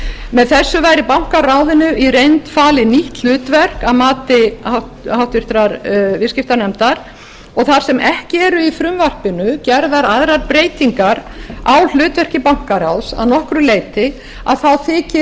með þessu væri bankaráðinu í reynd falið nýtt hlutverk að mati háttvirts viðskiptanefndar og þar sem ekki eru í frumvarpinu gerðar aðrar breytingar á hlutverki bankaráðs að nokkru leyti þá þykir